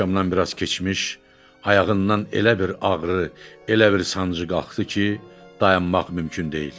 Axşamdan biraz keçmiş, ayağından elə bir ağrı, elə bir sancı qalxdı ki, dayanmaq mümkün deyildi.